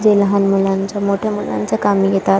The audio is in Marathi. जे लहान मुलांच्या मोठ्या मुलांच्या कामी येतात.